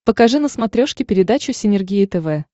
покажи на смотрешке передачу синергия тв